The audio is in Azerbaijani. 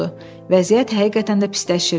Vəziyyət həqiqətən də pisləşirdi.